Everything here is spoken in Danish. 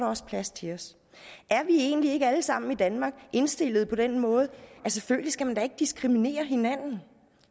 også plads til os er vi egentlig ikke alle sammen i danmark indstillet på den måde at selvfølgelig skal man da ikke diskriminere hinanden